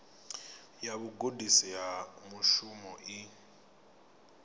ya vhugudisi ha mushumo i